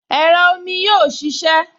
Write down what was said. Ẹ̀rọ omi yóò ṣiṣẹ́